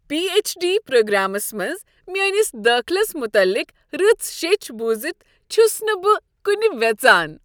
P H D programs منز میٲنس دٲخلس متعلق رٕژ شیٚچھ بوٗزتھ چھس نہٕ بہٕ کنہِ ویژان۔